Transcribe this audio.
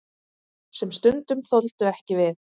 Sem stundum þoldu ekki við.